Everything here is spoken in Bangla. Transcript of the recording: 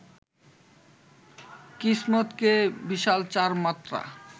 কিসমত কে ভিসাল চার মাত্রা